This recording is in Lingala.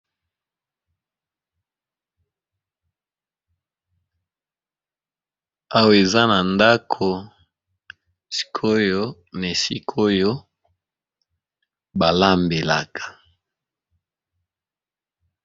Awa eza na ndako esika oyo balambelaka.